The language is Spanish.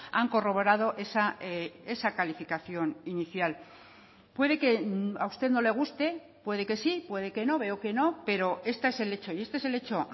han corroborado esa calificación inicial puede que a usted no le guste puede que sí puede que no veo que no pero este es el hecho y este es el hecho